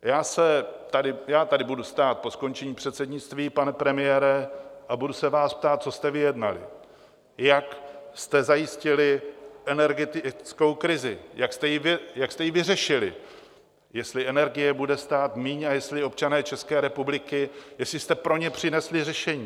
Já tady budu stát po skončení předsednictví, pane premiére, a budu se vás ptát, co jste vyjednali, jak jste zajistili energetickou krizi, jak jste ji vyřešili, jestli energie bude stát míň a jestli občané České republiky, jestli jste pro ně přinesli řešení?